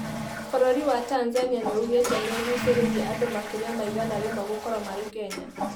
Bũrũri wa Tanzania nĩugĩte nĩ ũgucirĩirie andũmakĩria ma igana rĩmwe gũkorwo marĩ akenya.